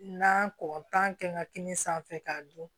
Na kɔn tan kɛ n ka kini sanfɛ k'a dun